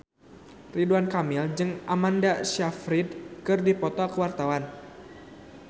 Ridwan Kamil jeung Amanda Sayfried keur dipoto ku wartawan